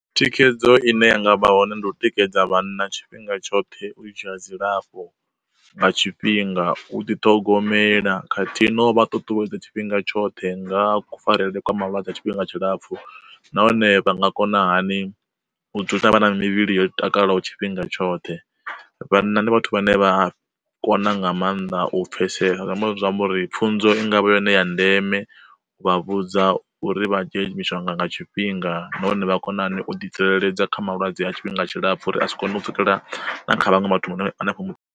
Thikhedzo ine yanga vha hone ndi u tikedza vhana tshifhinga tshoṱhe u dzhia dzilafho nga tshifhinga, u ḓi ṱhogomela kha ṱhihi no vha ṱuṱuwedza tshifhinga tshoṱhe nga kufarelwe kwa mavhadzi tshifhinga tshilapfu, nahone vha nga kona hani u dzula vha na mivhili yo takalaho tshifhinga tshoṱhe. Vhanna ndi vhathu vhane vha kona nga maanḓa u pfesesa uri pfunzo i ngavha yone ya ndeme u vha vhudza uri vha dzhie mishonga nga tshifhinga nahone vha kona hani u ḓi tsireledza kha malwadze a tshifhinga tshilapfu uri asi kone u pfhukela kha vhaṅwe vhathu vho no hanefho mu.